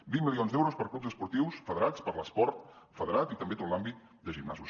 vint milions d’euros per a clubs esportius federats per a l’esport federat i també tot l’àmbit de gimnasos